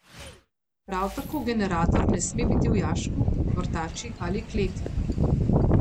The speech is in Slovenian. Prav tako generator ne sme biti v jašku, vrtači ali kleti.